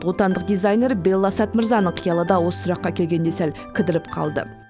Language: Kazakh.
отандық дизайнер белла сәт мырзаның қиялы да осы сұраққа келгенде сәл кідіріп қалды